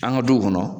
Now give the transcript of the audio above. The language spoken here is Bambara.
An ka duw kɔnɔ